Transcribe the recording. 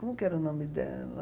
Como que era o nome dela?